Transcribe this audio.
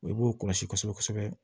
I b'o kɔlɔsi kosɛbɛ kosɛbɛ